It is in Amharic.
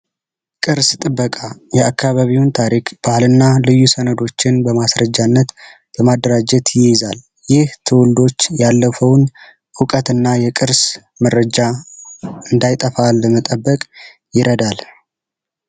ቅርስ ጥበቃ የአካባቢ ታሪክ ባህል እና ልዩ ሰነዶችን በማስረጃነት በማደራጀት ይይዛል። ይህ ትውልዶች ያለፈውን እውቀት እና የቅርስ መረጃ እንዳይጠፋ ይረዳናል።